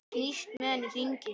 Snýst með hann í hringi.